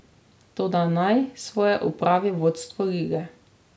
Toda naj svoje opravi vodstvo lige.